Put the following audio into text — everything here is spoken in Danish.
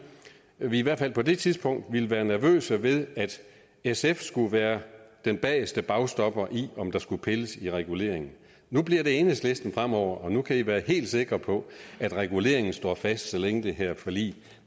vi i hvert fald på det tidspunkt ville være nervøse ved at sf skulle være den bageste bagstopper i om der skulle pilles ved reguleringen nu bliver det enhedslisten fremover og nu kan i være helt sikre på at reguleringen står fast så længe det her forlig